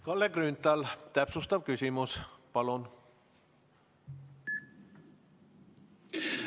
Kalle Grünthal, täpsustav küsimus palun!